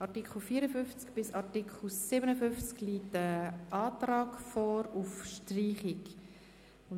Zu den Artikeln 54–57 liegt ein Antrag auf Streichung vor.